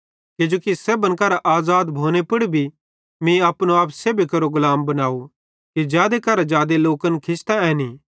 किजोकि सेब्भन करां आज़ाद भोने पुड़ भी मीं अपनो आप सेब्भी केरो गुलाम बनाव कि जादे करां जादे लोकन खिचतां ऐनीं